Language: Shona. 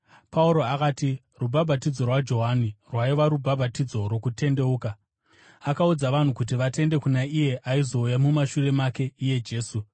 Pauro akati, “Rubhabhatidzo rwaJohani rwaiva rubhabhatidzo rwokutendeuka. Akaudza vanhu kuti vatende kuna iye aizouya mumashure make, iye Jesu.”